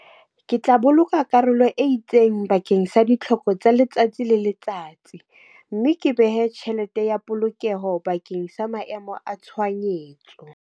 Ke tla boloka karolo e itseng bakeng sa ditlhoko tsa letsatsi le letsatsi. Mme ke behe tjhelete ya polokeho bakeng sa maemo a tshohanyetso.